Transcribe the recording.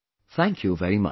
Thank you very much